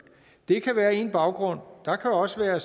det kan være én baggrund og der kan også være